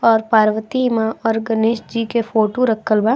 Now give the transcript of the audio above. और पार्वती माँ और गणेश जी के फोटो रखल बा।